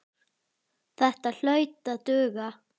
Þetta hlaut að duga.